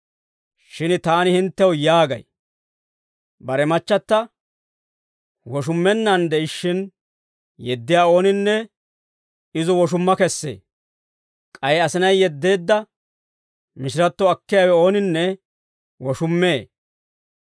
Shin taani hinttew yaagay; ‹Bare machchata woshummennaan de'ishshin yeddiyaa ooninne izo woshumma kessee; k'ay asinay yeddeedda mishiratto akkiyaawe ooninne woshummee.›